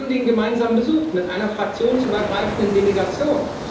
Wir haben den gemeinsam besucht, mit einer fraktionsübergreifenden Delegation.